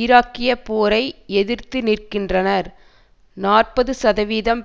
ஈராக்கிய போரை எதிர்த்து நிற்கின்றனர் நாற்பதுசதவீதம்